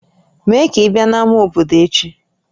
Mee ka ị bịa n'ámá obodo echi!